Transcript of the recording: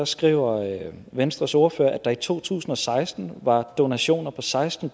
skriver venstres ordfører at der i to tusind og seksten var donationer på seksten